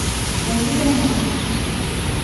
Enkitege`na